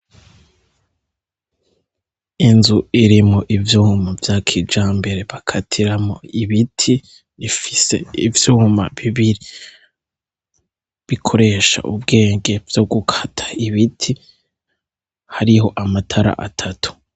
Inzu irimwo ivyuma vya kijambere bakatiramwo ibiti, ifise ivyuma bibiri bikoresha ubwenge vyo gukata ibiti, hariho amatara atatu.